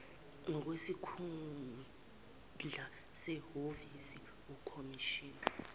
ngokwesikhundla sehhovisi ukhomishina